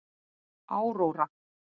Áróra